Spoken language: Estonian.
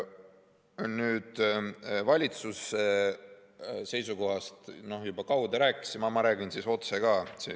Valitsuse seisukohast juba kaude rääkisime, aga ma räägin siis otse ka.